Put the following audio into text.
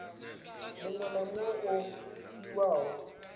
muṅwe na muṅwe o fhiwaho